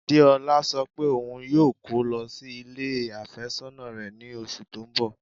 Deọla sọ pé ọún yóò kọ́ lọ sí ilẹ̀ afésònà rẹ̀ ní ọṣù tó n bọ̀.